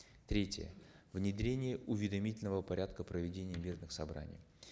третье внедрение уведомительного порядка проведения мирных собраний